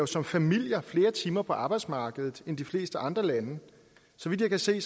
som familier flere timer på arbejdsmarkedet end de fleste andre lande så vidt jeg kan se